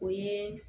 O ye